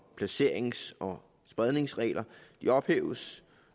af placerings og spredningsregler ophæves